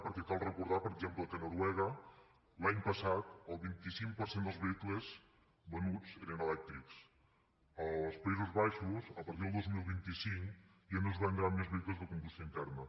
perquè cal recordar per exemple que a noruega l’any passat el vint cinc per cent dels vehicles venuts eren elèctrics als països baixos a partir del dos mil vint cinc ja no es vendran més vehicles de combustió interna